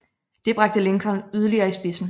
Det bragte Lincoln yderligere i spidsen